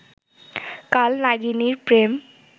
কাল নাগিনীর প্রেম